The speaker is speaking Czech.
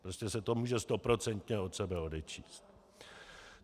Prostě se to může stoprocentně od sebe odečíst.